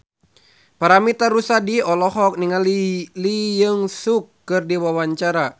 Paramitha Rusady olohok ningali Lee Jeong Suk keur diwawancara